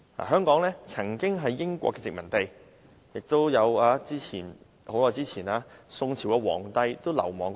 香港曾經是英國殖民地，很久之前亦曾有宋朝皇帝流亡到此。